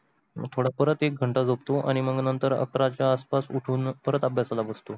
मग थोड परत एक घटा झोपतो आन्ही मग नतर अकरा च्या आस पास उठून परत अभ्यासाला बसतो